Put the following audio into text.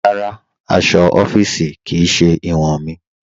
Rárá, aṣọ̀ ọ̀fíìṣí kí í ṣẹ̀ iwọn mí.